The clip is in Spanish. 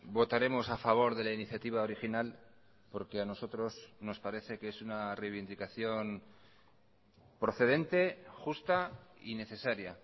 votaremos a favor de la iniciativa original porque a nosotros nos parece que es una reivindicación procedente justa y necesaria